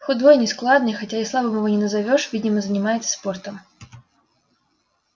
худой нескладный хотя и слабым его не назовёшь видимо занимается спортом